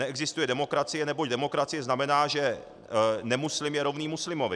Neexistuje demokracie, neboť demokracie znamená, že nemuslim je rovný muslimovi.